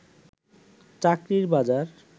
চাকরি বাজার